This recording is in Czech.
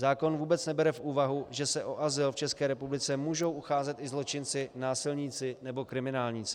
Zákon vůbec nebere v úvahu, že se o azyl v České republice můžou ucházet i zločinci, násilníci nebo kriminálníci.